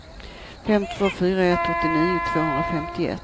fem två fyra ett åttionio tvåhundrafemtioett